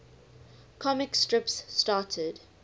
comic strips started